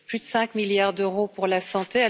Plus de 5 milliards d'euros pour la santé.